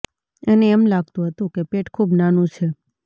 એને એમ લાગતું હતું કે પેટ ખૂબ નાનું છે